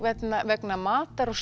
vegna vegna matar og